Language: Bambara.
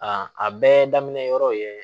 a bɛɛ daminɛ yɔrɔ ye